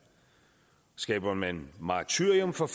skaber man martyrium for